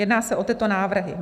Jedná se o tyto návrhy: